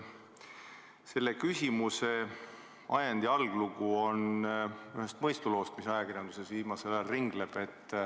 Selle küsimuse ajend ja alglugu on üks mõistulugu, mis ajakirjanduses viimasel ajal ringleb.